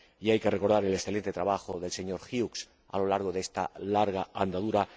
hay que recordar el excelente trabajo del señor Hughes a lo largo de esta larga andadura.